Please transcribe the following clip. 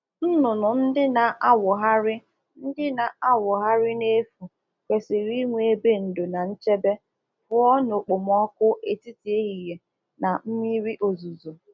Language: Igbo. Ụmụ ọkụkụ nọ ebe ha na um akpagharị akpagharị kwesịrị inwe um ebe ga-eche ha ndo n'oke anwụ ma ọbụ na-mmiri ozuzo